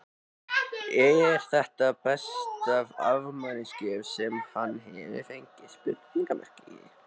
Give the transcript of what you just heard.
Eru þetta besta afmælisgjöf sem hann hefur fengið?